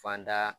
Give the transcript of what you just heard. Fan da